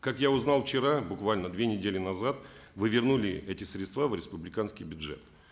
как я узнал вчера буквально две недели назад вы вернули эти средства в республиканский бюджет